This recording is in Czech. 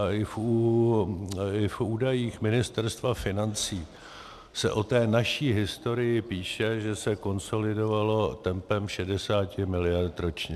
A i v údajích Ministerstva financí se o té naší historii píše, že se konsolidovalo tempem 60 miliard ročně.